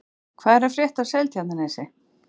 Hvað er að frétta af Seltjarnarnesi?